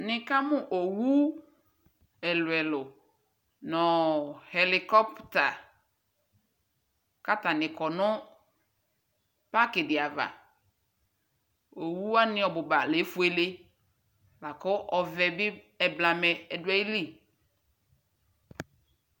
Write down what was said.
Nikamu owu ɛluɛlu nu Xɛlicoper katanikɔ nu pakidiava Owuwani ɔbuba leƒuele laku ɔvɛbi ɛɛblamɛ ɔduayili